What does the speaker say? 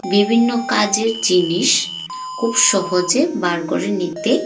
বিভিন্ন কাজের জিনিস খুব সহজে বার করে নিতে--